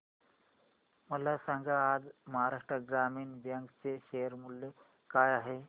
मला सांगा आज महाराष्ट्र ग्रामीण बँक चे शेअर मूल्य काय आहे